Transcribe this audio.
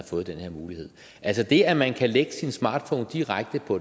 fået den her mulighed altså det at man kan lægge sin smartphone direkte på